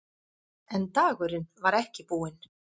En dagurinn var ekki búinn.